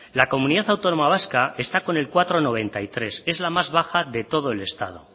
la comunidad autónoma vasca está con el cuatro coma noventa y tres es la más baja de todo el estado